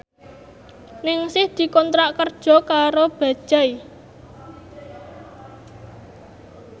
Ningsih dikontrak kerja karo Bajaj